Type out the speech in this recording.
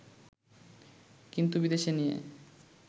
কিন্তু বিদেশে নিয়ে